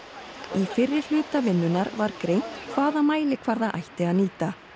í fyrri hluta vinnunnar var greint hvaða mælikvarða ætti að nýta